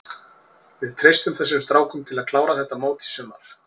Við treystum þessum strákum til að klára þetta mót í sumar.